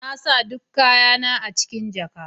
Na sa duk kayana a cikin jaka.